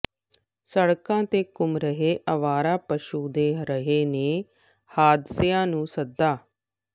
ਸੜਕਾਂ ਤੇ ਘੁੰਮ ਰਹੇੇ ਅਵਾਰਾ ਪਸ਼ੂ ਦੇ ਰਹੇ ਨੇ ਹਾਦਸਿਆਂ ਨੂੂੰ ਸੱਦਾ